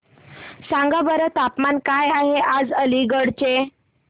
सांगा बरं तापमान काय आहे आज अलिगढ चे